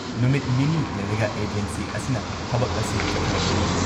ꯅꯨꯃꯤꯠ ꯅꯤꯅꯤ ꯂꯩꯔꯒ ꯑꯦꯖꯦꯟꯁꯤ ꯑꯁꯤꯅ ꯊꯕꯛ ꯑꯁꯤ ꯆꯠꯊꯔꯛꯄꯅꯤ ꯫